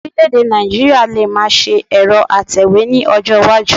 Ọ̀rílẹ̀-èdè Nigeria lè máa ṣe ẹ̀rọ atẹ̀wé ní ọjọ́ iwájú